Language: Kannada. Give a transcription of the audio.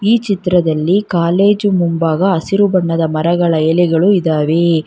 ಈ ಚಿತ್ರದಲ್ಲಿ ಕಾಲೇಜು ಮುಂಭಾಗ ಹಸಿರು ಬಣ್ಣದ ಮರಗಳ ಎಲೆಗಳು ಇದಾವೆ.